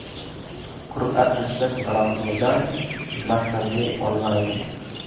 Qur’a tashlash marosimidan matnli onlayn.